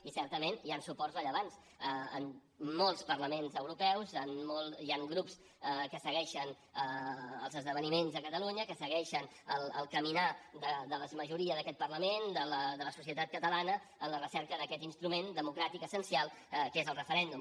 i certament hi ha suports rellevants en molts parlaments europeus hi ha grups que segueixen els esdeveniments de catalunya que segueixen el caminar de la majoria d’aquest parlament de la societat catalana en la recerca d’aquest instrument democràtic essencial que és el referèndum